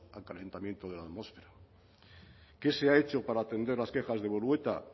al calentamiento de la atmósfera qué se ha hecho para atender las quejas de bolueta